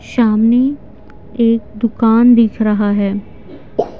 सामने एक दुकान दिख रहा है।